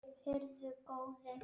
Heyrðu góði.